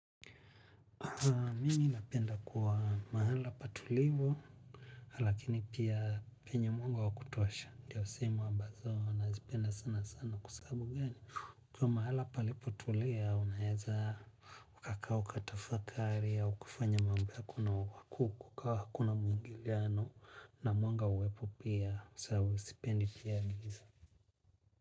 Mimi napenda kuwa mahala patulivu, lakini pia penye mwanga wa kutosha, ndiyo usimu ambazo nazipenda sana sana kusahabu gani. Kwa mahala palipo tulia, unaeza, ukakaa ukatafakari, ukufanya mambia kuna wakuku, kukau hakuna muingiliano, na mwanga uwepu pia, sapendi pia giza.